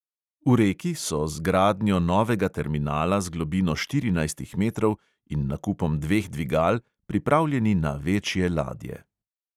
V reki so z gradnjo novega terminala z globino štirinajstih metrov in nakupom dveh dvigal pripravljeni na večje ladje.